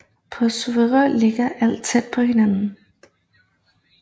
På Suðuroy ligger alt tæt ved hinanden